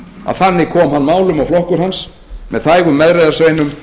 að þannig er komið málum og flokkur hans með þægum meðreiðarsveinum